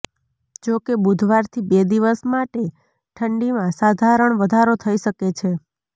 જો કે બુધવારથી બે દિવસ માટે ઠંડીમાં સાધારણ વધારો થઇ શકે છે